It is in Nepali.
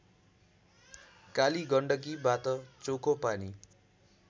कालिगण्डकीबाट चोखो पानी